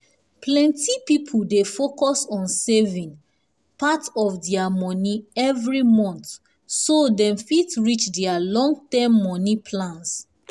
plenty people dey focus on saving part of their money every month so dem fit reach their long-term money plans.